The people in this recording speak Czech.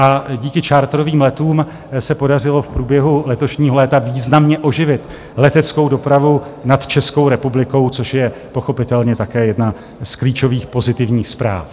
A díky charterovým letům se podařilo v průběhu letošního léta významně oživit leteckou dopravu nad Českou republikou, což je pochopitelně také jedna z klíčových pozitivních zpráv.